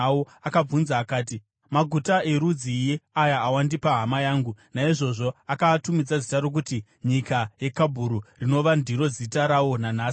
Akabvunza akati, “Maguta erudzii aya awandipa, hama yangu?” Naizvozvo akaatumidza zita rokuti Nyika yeKabhuru, rinova ndiro zita rawo nanhasi.